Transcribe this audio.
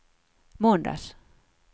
måndags